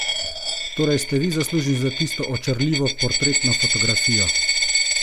Torej ste vi zaslužni za tisto očarljivo portretno fotografijo?